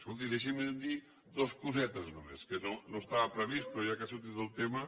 escolti deixi’m dir dues cosetes només que no estava previst però ja que ha sortit el tema